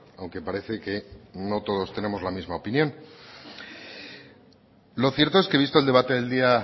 aunque parece que no todos tenemos la misma opinión lo cierto es que visto el debate del día